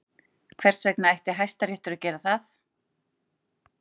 Hvers vegna ætti Hæstiréttur að gera það?